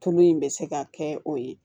Tulu in bɛ se ka kɛ o ye